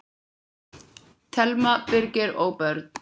Telma, Birgir og börn.